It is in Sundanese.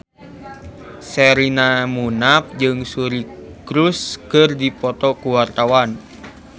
Sherina Munaf jeung Suri Cruise keur dipoto ku wartawan